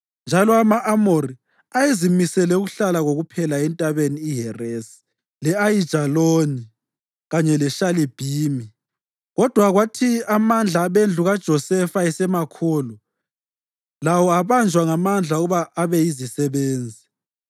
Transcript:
Njalo ama-Amori ayezimisele ukuhlala kokuphela eNtabeni iHeresi, le-Ayijaloni kanye leShalibhimi, kodwa kwathi amandla abendlu kaJosefa esemakhulu, lawo abanjwa ngamandla ukuba abe yizisebenzi.